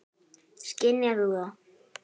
Skynjar þú það?